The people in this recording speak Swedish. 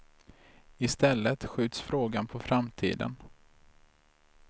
I stället skjuts frågan på framtiden.